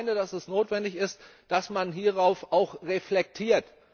Ich meine, dass es notwendig ist, dass man hierüber auch reflektiert.